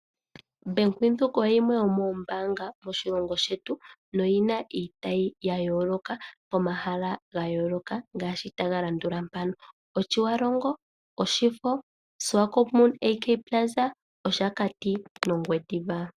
Bank Windhoek oyo yimwe yomoombaanga moshilongo shetu noyi na iitayi momahala ga yooloka ngaashi Otjiwarongo, Oshifo, Swakopmund AK Plaza, Oshakati nOngwediva.